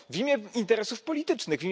W imię interesów politycznych.